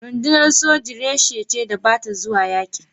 Rundunar soji reshe ce da ba ta zuwa yaƙi.